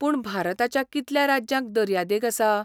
पूण भारताच्या कितल्या राज्यांक दर्यादेग आसा?